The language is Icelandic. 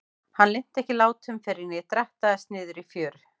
Hann linnti ekki látum fyrr en ég drattaðist niður í fjöru.